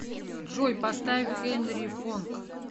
джой поставь хенри фонг